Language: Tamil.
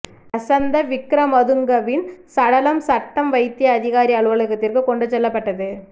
லசந்த விக்ரமதுங்கவின் சடலம் சட்ட வைத்திய அதிகாரி அலுவலகத்திற்கு கொண்டு செல்லப்பட்டது